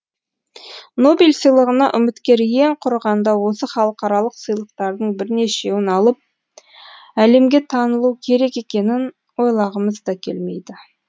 нобель сыйлығына үміткер ең құрығанда осы халықаралық сыйлықтардың бірнешеуін алып әлемге танылуы керек екенін ойлағымыз да келмейді